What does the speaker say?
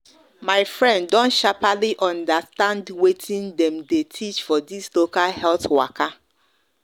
my friend don sharperly understand watin dem the teach for this local health waka